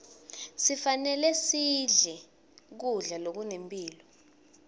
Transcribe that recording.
kufanele sidle kudla lokunemphilo